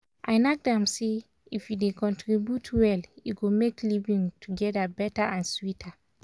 i knack dem say if we dey contribute well e go make living together better and sweeter.